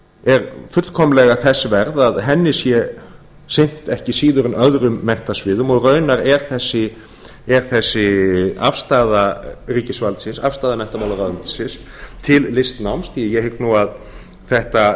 er fullkomlega þess verð að henni sé sinnt ekki síður en öðrum menntasviðum og raunar er þessi afstaða ríkisvaldsins afstaða menntamálaráðuneytisins til listnáms því ég hygg að þetta